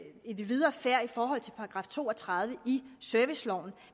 i den videre færd i forhold til § to og tredive i serviceloven